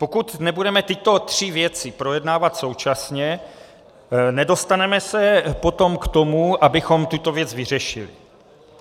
Pokud nebudeme tyto tři věci projednávat současně, nedostaneme se potom k tomu, abychom tuto věc vyřešili.